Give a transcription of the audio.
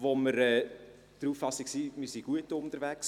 Wir sind der Auffassung, wir seien gut unterwegs.